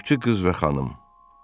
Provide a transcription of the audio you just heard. Qulluqçu qız və xanım.